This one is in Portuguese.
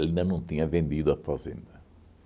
Ele ainda não tinha vendido a fazenda.